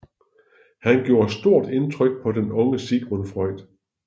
Han gjorde stort indtryk på den unge Sigmund Freud